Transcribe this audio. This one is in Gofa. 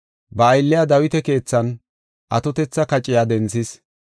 Ba aylliya Dawita keethan atotetha kaciya denthis.